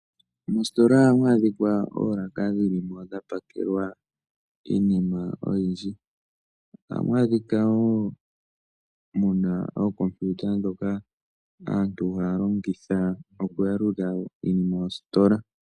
Moositola ohamu adhika oolaka dhili mo dha pakelwa iinima oyindji. Ohamu adhika woo muna ookompiuta ndhoka aantu haya longitha oku yalula iinima yositola.